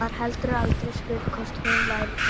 Var heldur aldrei spurð hvort hún væri þreytt.